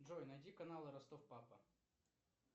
джой найди канал ростов папа